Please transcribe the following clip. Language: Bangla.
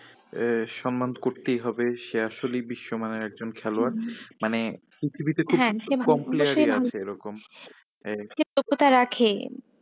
এ সম্মান তো করতেই হবে, সে আসলেই বিশ্ব মানের একজন খেলোয়াড়। মানে পৃথিবীতে খুব কম player ই আছে এরকম যোগ্যতা রাখে।